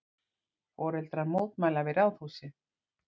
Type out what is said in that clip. Foreldrar mótmæla við Ráðhúsið